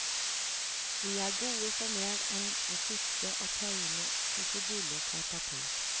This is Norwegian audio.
Vi er gode for mer enn å sitte og tegne kruseduller på et papir.